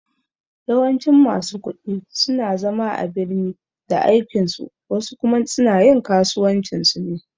Yawancin masu ƙudi suna zama a birni da aikin su wasu kuma suna yin kasuwancin su ne